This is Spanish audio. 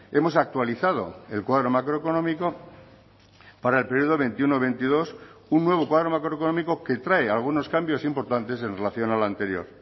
hemos actualizado el cuadro macroeconómico para el periodo veintiuno veintidós un nuevo cuadro macroeconómico que trae algunos cambios importantes en relación al anterior